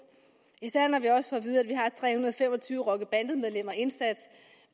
især når vi også og fem og tyve rockerbandemedlemmer indsat